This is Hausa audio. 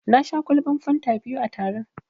Na sha ƙwalban fanta biyu a taron.